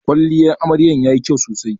Kwalliyan amaryar yayi kyau sosai.